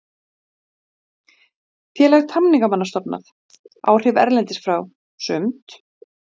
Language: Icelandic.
Heimir Már Pétursson: Stjórnvöld verði við þessum óskum ykkar í þessum mánuði?